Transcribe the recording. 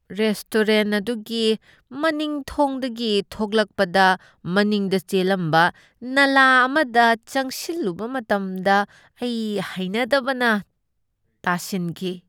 Restaurant ꯑꯗꯨꯒꯤ ꯃꯅꯤꯡ ꯊꯪꯡꯗꯒꯤ ꯊꯣꯛꯂꯛꯄꯗ, ꯃꯅꯤꯡꯗ ꯆꯦꯜꯂꯝꯕ ꯅꯂꯥ ꯑꯃꯗ ꯆꯪꯁꯤꯜꯂꯨꯕ ꯃꯇꯝꯗ ꯑꯩ ꯍꯩꯅꯗꯕꯅ ꯇꯥꯁꯟꯈꯤ꯫